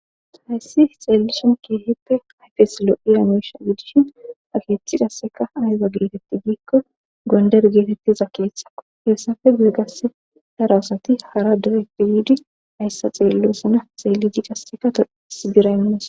Hayssi xeellishon keeheppe hayfesilo7iyamush gidishin akeeththidasseka aheza geetetti giikko gonder geetettiza keeththao heessafe guygasse daraasati hara direpiyidi hayssa xeellosana xeelli jiidasekaois bira immas.